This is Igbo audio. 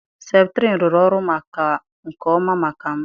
septrin rụrụ ọrụ nke ọma maka m.